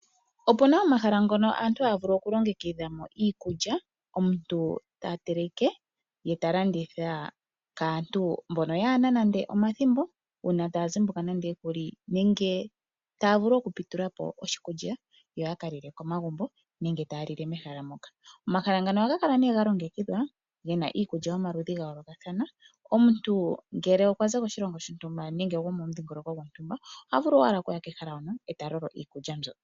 Opuna omahala ngono aantu haya vulu okulongekidha mo iikulya omuntu ta teleke ye ta landitha kaantu mbono yaana nande omathimbo uuna taya zimbuka nande okuli nenge taya vulu okupitula po oshikulya yo ya ka lile komagumbo nenge taa lile mehala moka. Omahala ngano ohaga kala nee ga longekidhwa Gena iikulya yomaludhi ga yoolokathana omuntu ngele okwa za koshilongo shontumba nenge gomumudhingoloko gontumba oha vulu owala okuya kehala hono eta lolo iikulya mbyo.